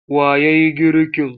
Wa ya yi girkin?